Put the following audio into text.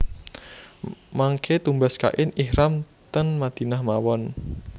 Mangke tumbas kain ihram ten Madinah mawon